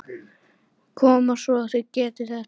Koma svo, þið getið þetta!